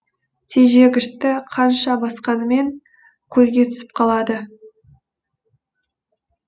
тежегішті қанша басқанымен көзге түсіп қалады